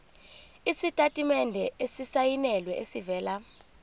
isitatimende esisayinelwe esivela